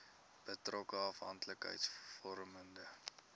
betrokke afhanklikheids vormende